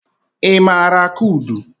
Ị maara akụ udu?